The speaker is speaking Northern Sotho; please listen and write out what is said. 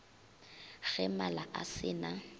ge mala a se na